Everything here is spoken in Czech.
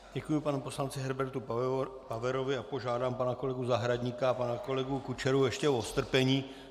Děkuji panu poslanci Herbertu Paverovi a požádám pana kolegu Zahradníka a pana kolegu Kučeru ještě o strpení.